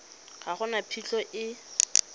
ga go na phitlho e